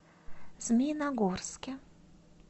змеиногорске